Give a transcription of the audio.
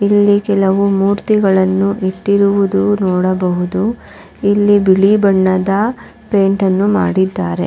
ಇಲ್ಲಿ ಕೆಲವು ಮೂರ್ತಿಗಳನ್ನು ಇಟ್ಟಿರುವುದು ನೋಡಬಹುದು ಇಲ್ಲಿ ಬಿಳಿ ಬಣ್ಣದ ಪೈಂಟ್ಅನ್ನು ಮಾಡಿದ್ದಾರೆ.